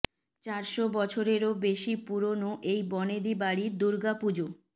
চারশো বছরেরও বেশী পুরোনো এই বনেদী বাড়ীর দুর্গা পুজো